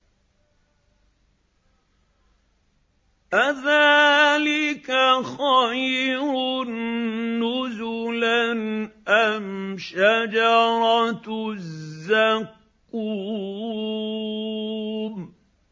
أَذَٰلِكَ خَيْرٌ نُّزُلًا أَمْ شَجَرَةُ الزَّقُّومِ